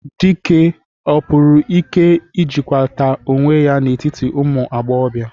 Dike, ọ pụrụ ike ịjịkwalata onwe ya n'etiti ụmụ agbọghọbịa?